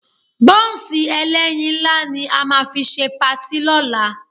Bọ́ǹsì ẹlẹ́yin ńlá ni a máa fi ṣe patí lọ́la